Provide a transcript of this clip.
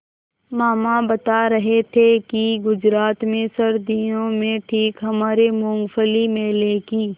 मामा बता रहे थे कि गुजरात में सर्दियों में ठीक हमारे मूँगफली मेले की